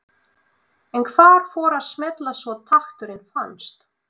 En hvað fór að smella svo takturinn fannst?